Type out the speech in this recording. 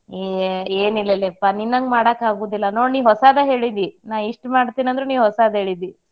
ಹ್ಮ್ ಏನಿಲ್ಲೇಲಾಪಾ ನಿನ್ನಂಗ್ ಮಾಡಾಕಾಗೋದಿಲ್ಲಾ ನೋಡ್ ನೀ ಹೊಸಾದ ಹೇಳಿದಿ ನಾ ಇಷ್ಟ್ ಮಾಡ್ತೀನಿ ಅಂದ್ರ ನೀ ಹೊಸಾದ ಹೇಳಿದಿ.